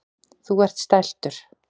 Þú ert stæltur.